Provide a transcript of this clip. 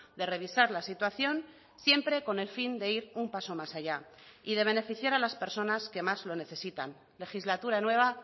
de revisar la situación siempre con el fin de ir un paso más allá y de beneficiar a las personas que más lo necesitan legislatura nueva